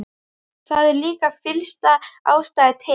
Það er líka fyllsta ástæða til.